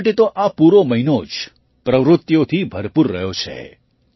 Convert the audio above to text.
ખેલાડીઓ માટે તો આ પૂરો મહિનો જ પ્રવૃત્તિઓથી ભરપૂર રહ્યો છે